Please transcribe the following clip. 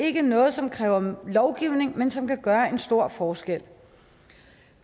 ikke noget som kræver lovgivning men som kan gøre en stor forskel